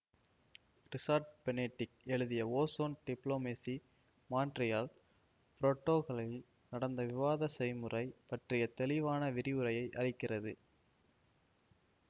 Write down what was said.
resort Benedick எழுதிய ozone diplomacy Montreal பிரோடோகளில் நடந்த விவாத செய்முறை பற்றிய தெளிவான விரிவுரையை அளிக்கிறது